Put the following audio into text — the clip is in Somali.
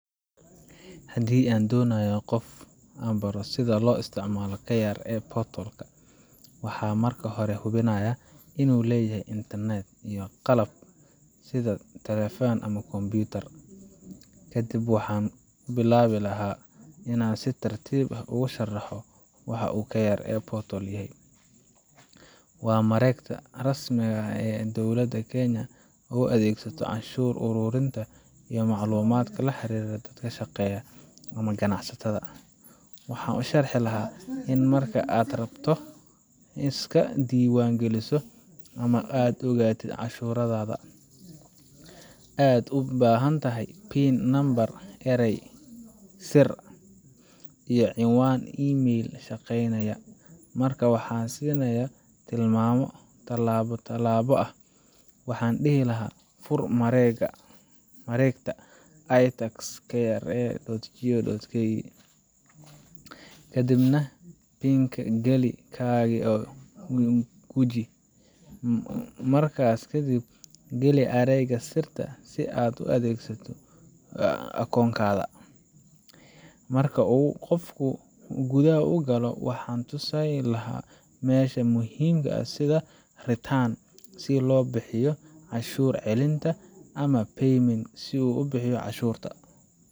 Haddii aan doonayo inaan qof baro sida loo isticmaalo KRA portal ka, waxaan marka hore hubinayaa inuu leeyahay internet iyo qalab sida taleefan ama kombiyuutar. Kadib waxaan ku bilaabi lahaa inaan si tartiib ah ugu sharaxo waxa uu KRA portal yahay waa mareegta rasmiga ah ee dowladda Kenya u adeegsato canshuur ururinta iyo macluumaadka la xiriira dadka shaqeeya ama ganacsatada. Waxaan u sharxi lahaa in marka aad rabto inaad iska diiwaan geliso ama aad ogaatid canshuurtaada, aad u baahantahay PIN number, eray sir ah, iyo cinwaan email shaqeynaya. Markaa waxaan siinayaa tilmaamo talaabo-talaabo ah. Waxaan dhihi lahaa, fur mareegta itax.kra.go.ke, kadibna gali PIN-kaaga oo guji Markaas kadib, geli eraygaaga sirta ah si aad u gasho akoonkaaga. Marka uu qofku gudaha galo, waxaan tusayaa meelaha muhiimka ah sida qeybta Returns si uu u buuxiyo canshuur celinta, ama Payment si uu u bixiyo canshuurta.